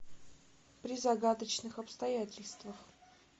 при загадочных обстоятельствах